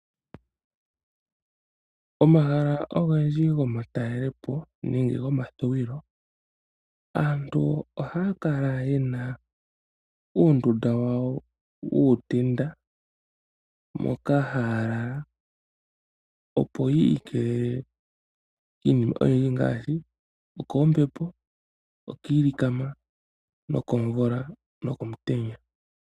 Omahala ogendji gomatalelepo nenge gokuvululukilwa aantu ohaya kala yena uundunda wawo wuutenda moka haya lala opo yiikelele kiinima oyindji ngaashi: okombepo, okiilikama , okomvula nokomutenya.